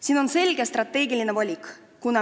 Siin tuleb teha selge strateegiline valik.